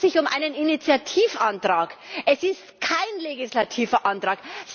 Es handelt sich um einen Initiativantrag, es ist kein legislativer Antrag!